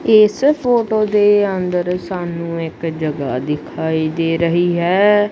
ਇਸ ਫੋਟੋ ਦੇ ਅੰਦਰ ਸਾਨੂੰ ਇੱਕ ਜਗ੍ਹਾ ਦਿਖਾਈ ਦੇ ਰਹੀ ਹੈ।